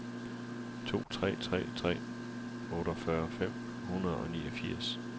to tre tre tre otteogfyrre fem hundrede og niogfirs